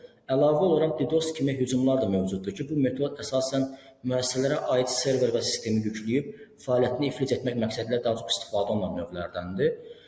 Əlavə olaraq Ddos kimi hücumlar da mövcuddur ki, bu metod əsasən müəssisələrə aid server və sistemi yükləyib fəaliyyətini iflic etmək məqsədilə daha çox istifadə olunan növlərdəndir.